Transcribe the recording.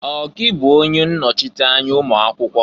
Ọ gị bụ onye nnọchịta anya ụmụakwụkwọ?